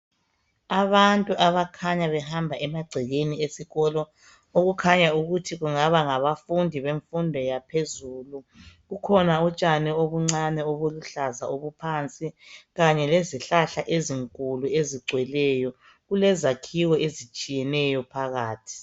Abantu abakhanya behamba emagcekeni esikolo. Okukhanya ukuthi kungaba ngabafundi bemfundo yaphezulu. Kukhona utshani obuncane obuluhlaza obuphansi, kanye lezihlahla ezinkulu ezigcweleyo. Kulezakhiwo ezitshiyeneyo phakathi.